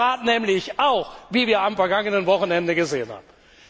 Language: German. Das tut der Rat nämlich auch, wie wir am vergangenen Wochenende gesehen haben.